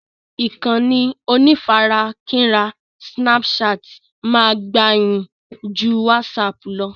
Ìkànnì onífarakínra "snapchat" máa gbayì ju "WhatsApp" lọ